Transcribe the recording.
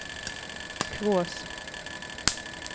Kvås